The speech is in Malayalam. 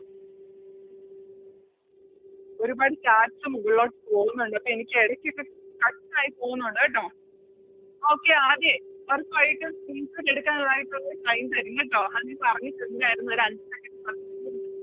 ഒരുപാട് Chats മുകളിലോട്ട് പോവുന്നുണ്ട് അപ്പൊ എനിക്കെടക്കൊക്കെ Stuck ആയി പോവുന്നൊണ്ട് കേട്ടോ Okay ഒറപ്പായിട്ടും Screenshot എടുക്കാനായിട്ടൊള്ള ഒരു Time തരും കേട്ടോ അത് നീ പറഞ്ഞിട്ടുണ്ടാരുന്നു ഓരഞ്ച് Second